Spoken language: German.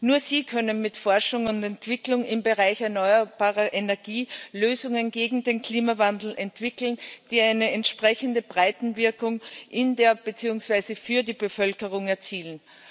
Nur sie können mit Forschung und Entwicklung im Bereich erneuerbare Energie Lösungen gegen den Klimawandel entwickeln, die eine entsprechende Breitenwirkung in der beziehungsweise für die Bevölkerung erzielen.